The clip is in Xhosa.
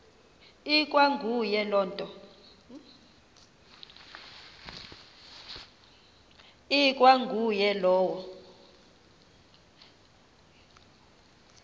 ikwa nguye lowo